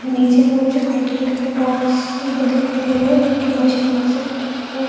नीचे जो white colour के बॉक्स भी दिखाई दे रहे हैं जो की मछलियों से भरे हुए --